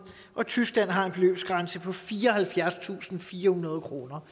og tyskland har en beløbsgrænse på fireoghalvfjerdstusinde og firehundrede kroner